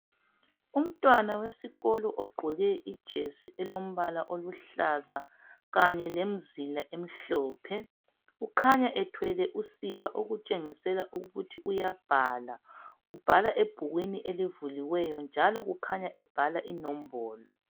Umntwana wesikolo ogqoke ijesi elombala olombala oluhoaza, kanye lomzila omhlophe. Kukhanya ephethe usiba. Okutshengisa ukuthi uyabhala, njalo ubhala iNombolo.